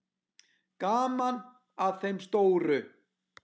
Gaman að þeim stóru.